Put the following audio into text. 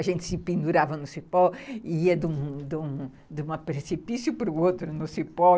A gente se pendurava no cipó e ia de um de um precipício para o outro no cipó.